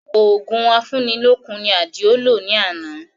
Òògùn afúni lókun ni Àdìó lò ní àná